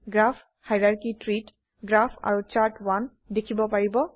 graph hierarchy tree ত graph আৰু chart দেখিব পাৰিব